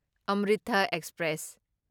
ꯑꯃ꯭ꯔꯤꯊꯥ express